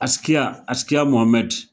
Askia Askia Mohamɛd